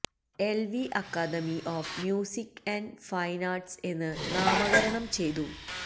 L V academy of music and fine arts എന്ന് നാമകരണം ചെയ്തു